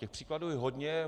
Těch případů je hodně.